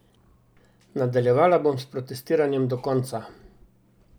Nadaljevala bom s protestiranjem do konca!